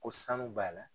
Ko sanu b'a la